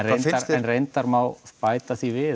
en reyndar má bæta því við